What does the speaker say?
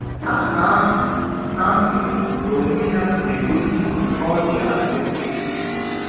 Aha ahụ ahụ n’onwe ya na-egosi na ọ dị adị.